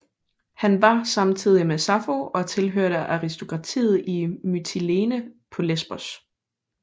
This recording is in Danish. Han var samtidig med Sappho og tilhørte aristokratiet i Mytilene på Lesbos